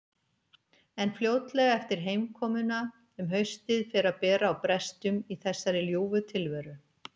En fljótlega eftir heimkomuna um haustið fer að bera á brestum í þessari ljúfu tilveru.